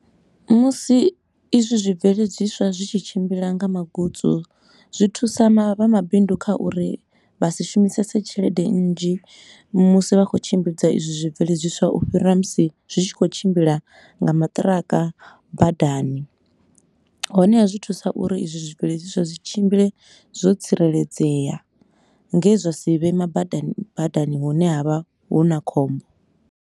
Musi izwi zwi bveledziswa zwi tshi tshimbila nga magutsu, zwi thusa vha mabindu kha uri vha si shumisese tshelede nnzhi musi vha khou tshimbidza izwi zwi bveledziswa u fhira musi zwi tshi khou tshimbila nga maṱiraka badani. Honeha, zwi thusa uri izwi zwibveledziswa zwi tshimbile zwo tsireledzea, nge zwa si vho ima badani badani hune ha vha hu na khombo.